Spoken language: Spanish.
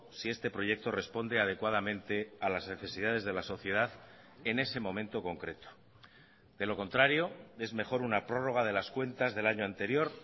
si este proyecto responde adecuadamente a las necesidades de la sociedad en ese momento concreto de lo contrario es mejor una prórroga de las cuentas del año anterior